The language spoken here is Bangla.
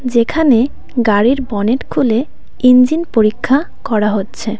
যেখানে গাড়ির বনেট খুলে ইঞ্জিন পরীক্ষা করা হচ্ছে।